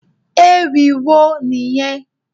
Ewì wo nìyẹn?